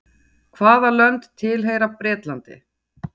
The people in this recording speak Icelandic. Hvaða lönd tilheyra Bretlandi?